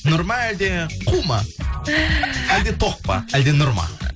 нұр ма әлде қу ма әлде тоқ па әлде нұр ма